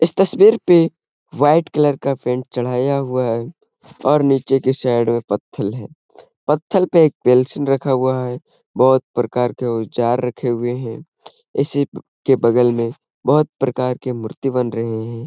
इस तस्वीर पे वाइट कलर का पेंट चढ़ाया हुआ है और नीचे की साइड में पथ्थल है। पथ्थल पर एक रखा हुआ है। बोहत प्रकार के औजार रखे हुए हैं। इसी के बगल में बोहत प्रकार के मूर्ति बन रहे हैं।